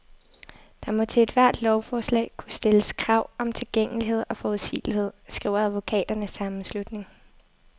Der må til ethvert lovforslag kunne stilles krav om tilgængelighed og forudsigelighed, skriver advokaternes sammenslutning.